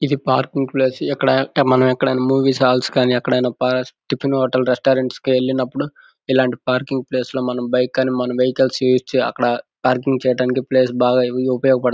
ఇది parking place ఇక్కడ మనం ఎక్కడైనా మూవీస్ హాల్స్ గని ఎక్కడైనా టిఫిన్ హోటల్ రెస్టారెంట్ కి వెళ్ళినపుడు ఇలాంటి పార్కింగ్ ప్లేస్ లో మన బైక్ గని మన వెహికల్స్ ఇచ్చి అక్కడ పార్కింగ్ చేయటానికి ప్లేస్ బాగా ఉపయోగ పడుతుంది.